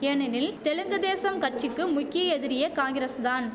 ஏனெனில் தெலுங்கு தேசம் கட்சிக்கு முக்கிய எதிரியே காங்கிரஸ் தான்